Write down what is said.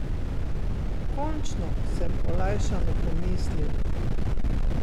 Končno, sem olajšano pomislil.